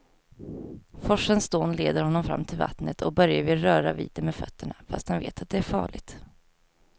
Forsens dån leder honom fram till vattnet och Börje vill röra vid det med fötterna, fast han vet att det är farligt.